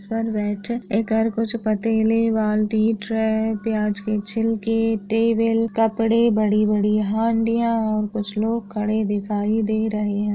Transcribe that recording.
पतेले वालती ट्रे प्याज के छिलके टेबल कपड़े बड़ी बड़ी हांडिया और कुछ लोग खड़े दिखाई दे रहे।